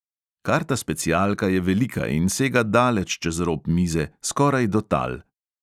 Karta specialka je velika in sega daleč čez rob mize, skoraj do tal.